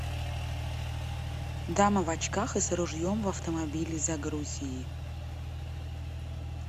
дама в очках и с ружьем в автомобиле загрузи